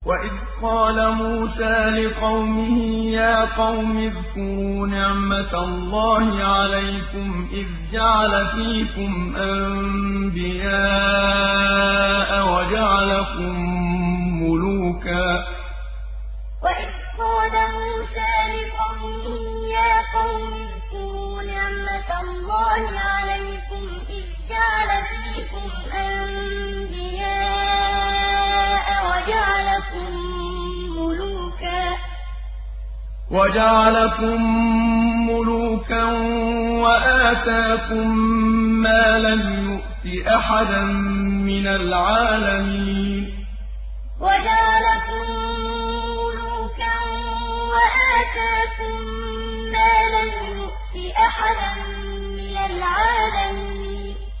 وَإِذْ قَالَ مُوسَىٰ لِقَوْمِهِ يَا قَوْمِ اذْكُرُوا نِعْمَةَ اللَّهِ عَلَيْكُمْ إِذْ جَعَلَ فِيكُمْ أَنبِيَاءَ وَجَعَلَكُم مُّلُوكًا وَآتَاكُم مَّا لَمْ يُؤْتِ أَحَدًا مِّنَ الْعَالَمِينَ وَإِذْ قَالَ مُوسَىٰ لِقَوْمِهِ يَا قَوْمِ اذْكُرُوا نِعْمَةَ اللَّهِ عَلَيْكُمْ إِذْ جَعَلَ فِيكُمْ أَنبِيَاءَ وَجَعَلَكُم مُّلُوكًا وَآتَاكُم مَّا لَمْ يُؤْتِ أَحَدًا مِّنَ الْعَالَمِينَ